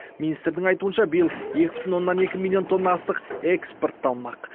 министрдің айтуынша биыл екі бүтін оннан екі миллион тонна астық экспортталмақ